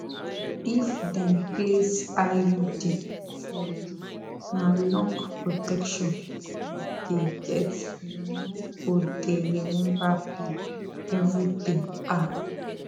if dem place iud for you na long protection you dey get you no go dey remember pill every day ah